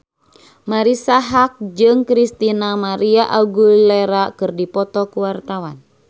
Marisa Haque jeung Christina María Aguilera keur dipoto ku wartawan